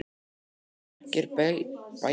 Nú eru margir bæir þar komnir í eyði.